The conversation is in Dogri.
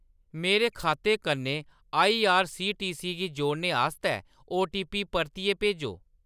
मेरे खाते कन्नै आईआरसीटीसी गी जोड़ने आस्तै ओटीपी परतिए भेजो।